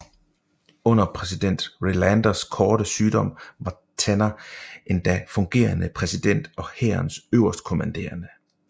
Under præsident Relanders korte sygdom var Tanner endda fungerende præsident og hærens øverstkommanderende